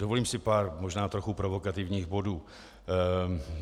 Dovolím si pár možná trochu provokativních bodů.